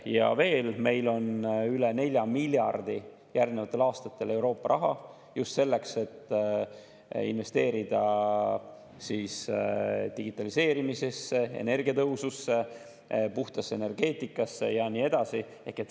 Ja veel: meil on järgnevatel aastatel üle 4 miljardi Euroopa raha just selleks, et investeerida digitaliseerimisesse, energiatõhususesse, puhtasse energeetikasse ja nii edasi.